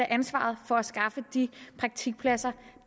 af ansvaret for at skaffe de praktikpladser